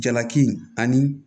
Jalaki ani